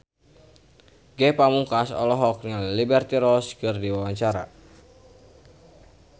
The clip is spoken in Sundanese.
Ge Pamungkas olohok ningali Liberty Ross keur diwawancara